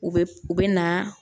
U bɛ u bɛ na